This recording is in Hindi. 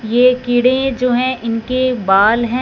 ये कीड़े जो हैं ईनके बाल हैं।